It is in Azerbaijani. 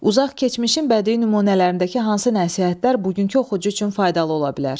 Uzaq keçmişin bədii nümunələrindəki hansı nəsihətlər bugünkü oxucu üçün faydalı ola bilər?